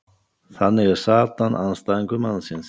þannig er satan andstæðingur mannsins